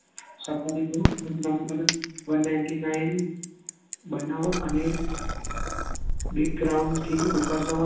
Safari નું એક number one ninety nine બનાવો અને